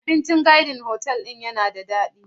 Abincin Garden otal ɗin yana da daɗi.